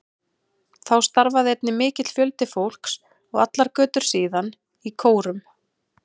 Þá starfaði einnig mikill fjöldi fólks, og allar götur síðan, í kórum.